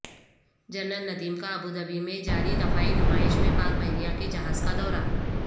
general Nadeem کا Abu Dhabi میں جاری دفاعی نمائش میں پاک بحریہ کے جہاز کا دورہ